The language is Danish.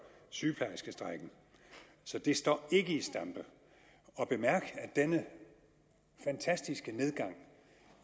sygeplejerskestrejken så det står og bemærk at denne fantastiske nedgang